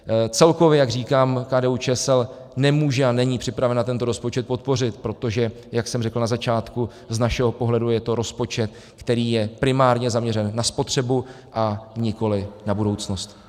Celkově, jak říkám, KDU-ČSL nemůže a není připravena tento rozpočet podpořit, protože, jak jsem řekl na začátku, z našeho pohledu je to rozpočet, který je primárně zaměřen na spotřebu, a nikoliv na budoucnost.